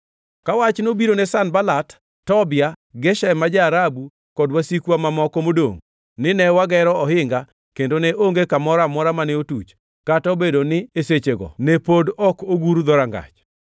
Ka wach nobiro ne Sanbalat, Tobia, Geshem ma ja-Arabu kod wasikwa mamoko modongʼ nine wagero ohinga kendo ne onge kamoro amora mane otuch, kata obedo ni e sechego ne pod ok aguro dhorangach.